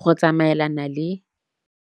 go tsamaelana le